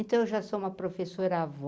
Então eu já sou uma professora-avó.